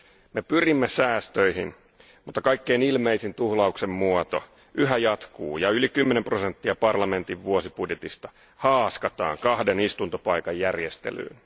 Me pyrimme säästöihin, mutta kaikkein ilmeisin tuhlauksen muoto yhä jatkuu ja yli 10 prosenttia parlamentin vuosibudjetista haaskataan kahden istuntopaikan järjestelyyn.